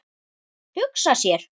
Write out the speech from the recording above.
Hugsa sér!